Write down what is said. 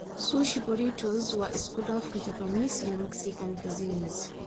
Sushi burritos waa isku dhafka Japanese iyo Mexican cuisines.